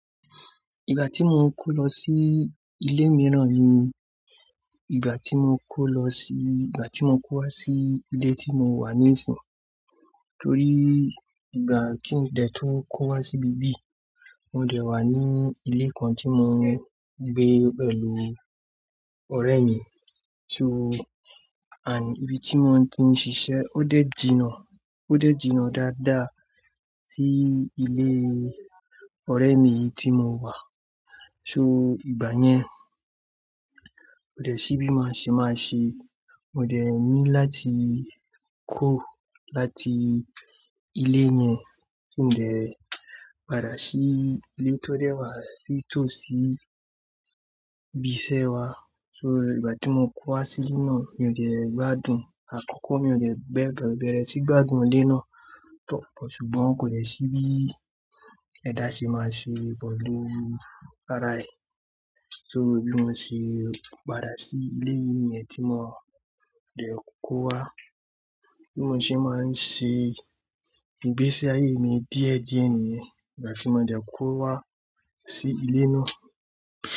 Ìgbà tí mo ń kó lọ sí ilé mìíràn ni ìgbà tí mo kó lọ sí, ìgbà tí mo kó wá sí ilé tí mo wà níìsín. Nítorí ìgbà tí ń dẹ̀ tó ń kó wá sí ibí bí, mo dẹ̀ wà ní ilé kan tí mo ń gbé pẹ̀lú ọ̀rẹ́ mi. So and ibi tí mo ti ń ṣiṣẹ́ ọ́ dẹ̀ jinná, ọ́ dẹ̀ jinná dáadáa sí ilé ọ̀rẹ́ mi yìí tí mo wà. So ìgbà yẹn, ọ̀ dẹ̀ ṣíbí má ṣe má ṣe, mo dẹ̀ ní láti kuro láti ilé yẹn, kí n dẹ̀ padà sí ilé tó dẹ̀ wà sí tòsí ibi iṣẹ́ wa. So ìgbà tí mo kó wá sí inú, mi ò dẹ̀ gbádùn. Àkọ́kọ́ mi ò dẹ̀ bẹ̀rẹ̀ sí gbádùn ilé náà púpọ̀, ṣùgbọ́n kò dẹ̀ ṣíbí ẹ dá ṣe máa ṣe pẹ̀lú ara ẹ. So bí mo ṣe padà sí ilé yín yẹn tí mo dẹ̀ kó wá. Bí mo ṣe máa ń ṣe ìgbésí ayé mi díẹ̀díẹ̀ nìyẹn, ìgbà tí mo dẹ̀ kó wá sí ilé náà.